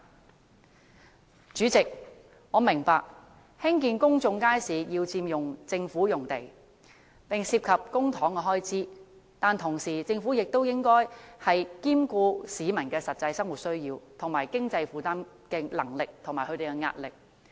代理主席，我明白興建公眾街市要佔用政府用地，並涉及公帑開支，但政府亦應兼顧市民的實際生活需要及經濟負擔能力和壓力。